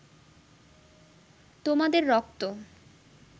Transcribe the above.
তোমাদের রক্ত